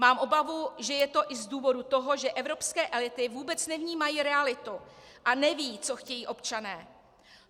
Mám obavu, že je to i z důvodu toho, že evropské elity vůbec nevnímají realitu a nevědí, co chtějí občané.